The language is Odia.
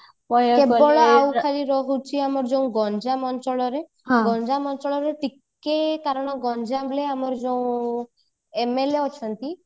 କେବଳ ଆଉ ଖାଲି ରହୁଛି ଆମ ଯୋଉ ଗଞ୍ଜାମ ଅଞ୍ଚଳର ଗଞ୍ଜାମ ଅଞ୍ଚଳର ଟିକେ କାରଣ ଗଞ୍ଜାମରେ ଆମର ଯୋଉ MLA ଅଛନ୍ତି